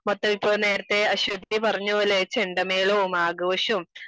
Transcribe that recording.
മൊത്തം ഇപ്പോ നേരത്തെ അശ്വതി പറഞ്ഞപോലെ ചെണ്ട മേളവും ആഘോഷവും